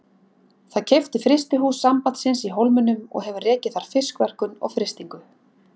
Það keypti frystihús Sambandsins í Hólminum og hefur rekið þar fiskverkun og frystingu.